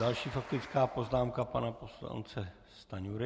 Další faktická poznámka pana poslance Stanjury.